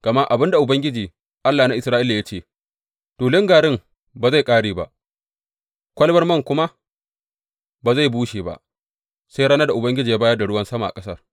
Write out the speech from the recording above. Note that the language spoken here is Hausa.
Gama abin da Ubangiji, Allah na Isra’ila ya ce, Tulun garin ba zai ƙare ba, kwalabar man kuma ba zai bushe ba sai ranar da Ubangiji ya bayar da ruwan sama a ƙasar.’